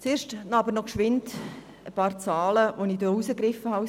Zuerst ein paar Zahlen, die ich aus dem Bericht herausgegriffen habe.